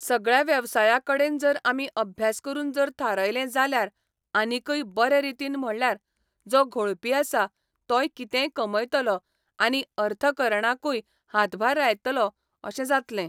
सगळ्या वेवसाया कडेन जर आमी अभ्यास करून जर थारयलें जाल्यार आनीकय बरें रितीन म्हणल्यार जो घोळपी आसा तोय कितेंय कमयतलो आनी अर्थकरणाकूय हातभार लायतलो अशें जातलें.